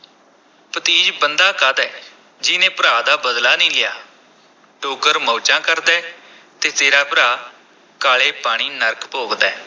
ਭਤੀਜ ਬੰਦਾ ਕਾਹਦਾ ਹੈ, ਜਿਹਨੇ ਭਰਾ ਦਾ ਬਦਲਾ ਨ੍ਹੀਂ ਲਿਆ, ਡੋਗਰ ਮੌਜਾਂ ਕਰਦਾ ਹੈ ਤੇ ਤੇਰਾ ਭਰਾ ਕਾਲੇ ਪਾਣੀ ਨਰਕ ਭੋਗਦਾ ਹੈ।